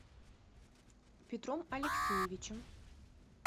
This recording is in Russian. петром алексеевичем